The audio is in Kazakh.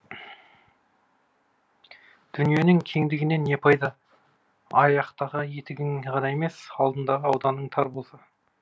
дүниенің кеңдігінен не пайда аяқтағы етігің ғана емес алдыдағы ауданың тар болса